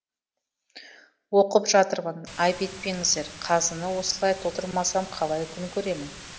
оқып жатырмын айып етпеңіздер қазыны осылай толтырмасам қалай күн көремін